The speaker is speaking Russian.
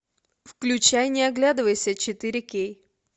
включай не оглядывайся четыре кей